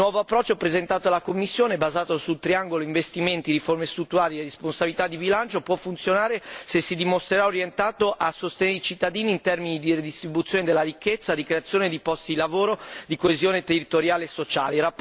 Il nuovo approccio presentato dalla Commissione e basato sul triangolo investimenti, riforme strutturali e responsabilità di bilancio può funzionare se si dimostrerà orientato a sostenere i cittadini in termini di redistribuzione della ricchezza, di creazione di posti di lavoro, di coesione territoriale e sociale.